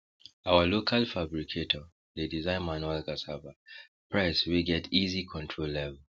our local fabricator dey design manual cassava press wey get easy control level